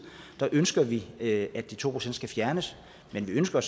ønsker vi at de to procent skal fjernes men vi ønsker